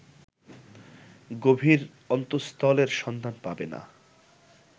গভীর অন্তস্তলের সন্ধান পাবে না